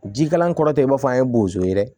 Jikalan kɔrɔ tɛ i b'a fɔ an ye bozo ye dɛ